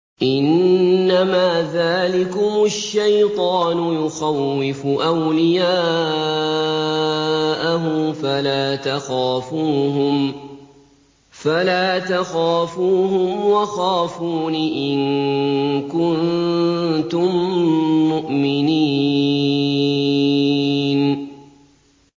إِنَّمَا ذَٰلِكُمُ الشَّيْطَانُ يُخَوِّفُ أَوْلِيَاءَهُ فَلَا تَخَافُوهُمْ وَخَافُونِ إِن كُنتُم مُّؤْمِنِينَ